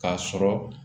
K'a sɔrɔ